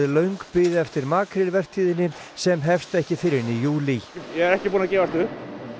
löng bið eftir sem hefst ekki fyrr en í júlí ég er ekki búinn að gefast upp